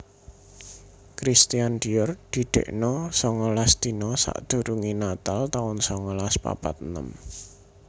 Christian Dior didekno songolas dina sakdurunge natal taun songolas papat enem